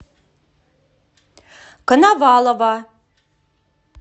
коновалова